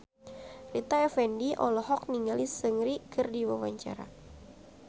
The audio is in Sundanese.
Rita Effendy olohok ningali Seungri keur diwawancara